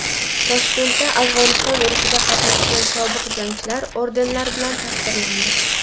Toshkentda Afg‘oniston urushida qatnashgan sobiq jangchilar ordenlar bilan taqdirlandi.